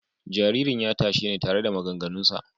Jaririn ya tashe ni tare da maganganunsa.